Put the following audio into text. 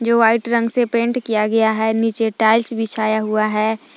जो वाइट रंग से पेंट किया गया है नीचे टाइल्स बिछाया हुआ है ।